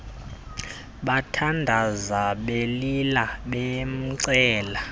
bathandaza belila bamcela